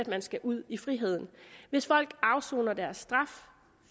man skal ud i friheden hvis folk afsoner deres straf